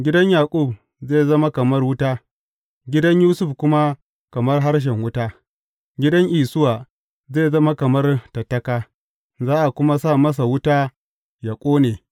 Gidan Yaƙub zai zama kamar wuta, gidan Yusuf kuma kamar harshen wuta; gidan Isuwa zai zama kamar tattaka, za a kuma sa masa wuta yă ƙone.